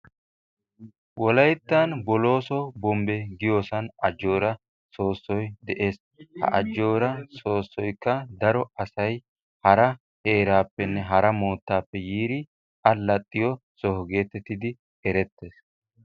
Wolayttan Bolooso bombbe giyosan ajjoora soossoy de'ees. Ha ajjoora soossoy daro asay hara heeraappenne hara moottaappe yiidi allaxxiyo soho gididi erettees.